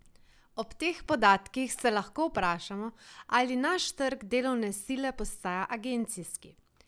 Ob teh podatkih se lahko vprašamo, ali naš trg delovne sile postaja agencijski?